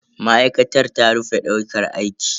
Ma'aikatar ta rufe daukar aiki.